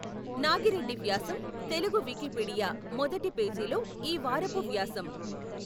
నాగిరెడ్డి వ్యాసం తెలుగు వికీపీడియా మొదటి పేజీలో ఈ వారపు వ్యాసం.